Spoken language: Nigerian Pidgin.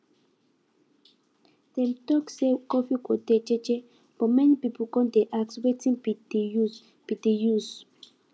dem tok say curfew go dey jeje but many people come dey ask wetin be de use be de use